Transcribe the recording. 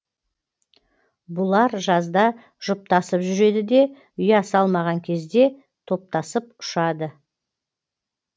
бұлар жазда жұптасып жүреді де ұя салмаған кезде топтасып ұшады